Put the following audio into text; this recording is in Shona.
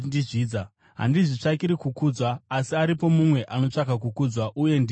Handizvitsvakiri kukudzwa; asi aripo mumwe anotsvaka kukudzwa, uye ndiye mutongi.